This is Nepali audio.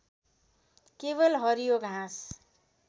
केवल हरियो घाँस